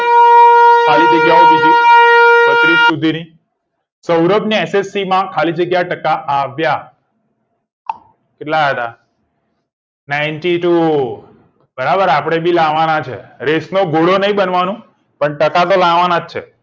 સૌરભને ssc માં ખાલી જગ્યા ટકા આવ્યા કેટલા આયા તા ninety two બરાબર આપડે બી લાવવાના છે રેસનો ઘોડો નઈ બનવાનું પણ ટકા તો લાવવાના જ છે